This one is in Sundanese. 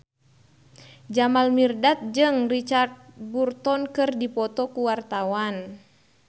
Jamal Mirdad jeung Richard Burton keur dipoto ku wartawan